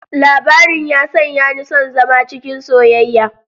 Labarin ya sanya ni son zama cikin soyayya.